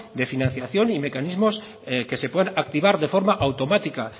de financiación y mecanismos que se puedan activar de forma automática